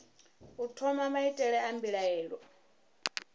u thoma maitele a mbilaelo